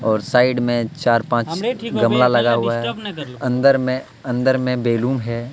और साइड में चार-पांच गमला लगा हुआ है अंदर में अंदर में बैलून है.